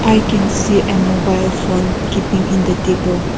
i can see a mobile phone keeping in the table.